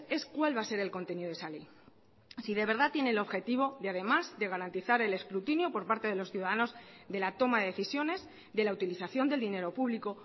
es cuál va a ser el contenido de esa ley si de verdad tiene el objetivo de además de garantizar el escrutinio por parte de los ciudadanos de la toma de decisiones de la utilización del dinero público